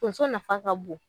Tonso nafa ka bon.